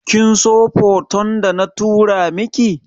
Kinso foton da na tura miki?